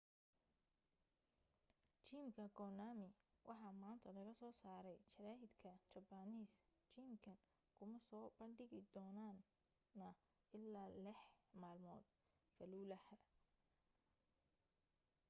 geemka konami waxaa maanta laga soo saaray jara'idka japanese geemkan kuma soo bandhigi doonana ilaa lex malmood falluhah